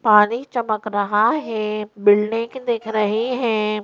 पानी चमक रहा है बिल्डिंग दिख रही है।